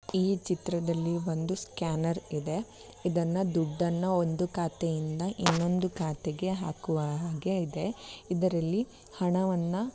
ಈ ಚಿತ್ರದಲ್ಲಿ ಒಂದು ಸ್ಕ್ಯಾನರ್ ಇದೆ ಇದನ್ನು ದುಡ್ಡನ್ನ ಒಂದು ಖಾತೆಯಿಂದ ಇನ್ನೊಂದು ಖಾತೆಗೆ ಹಾಕುವ ಹಾಗೆ ಇದೆ ಇದರಲ್ಲಿ ಹಣವನ್ನು --